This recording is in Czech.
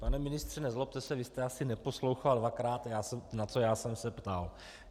Pane ministře, nezlobte se, vy jste asi neposlouchal dvakrát, na co já jsem se ptal.